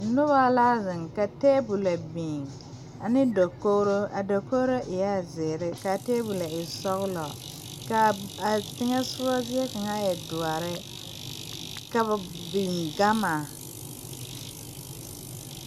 Nobɔ la zeŋ ka tabole kpɛ biŋ ane dokogro a dokogro eɛɛ zeere kaa tabolɔ e sɔglɔ kaa a teŋɛsugɔ zie kaŋa e doɔre ka ba biŋ gama.